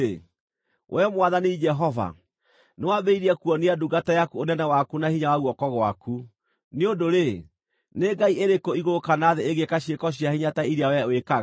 “We Mwathani Jehova, nĩwambĩrĩirie kuonia ndungata yaku ũnene waku na hinya wa guoko gwaku. Nĩ ũndũ-rĩ, nĩ ngai ĩrĩkũ igũrũ kana thĩ ĩngĩĩka ciĩko cia hinya ta iria wee wĩkaga?